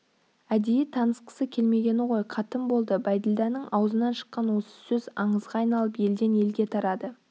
әдейі танытқысы келмегені ғой қатын болды бәйділданың аузынан шыққан осы сөз аңызға айналып елден елге тарады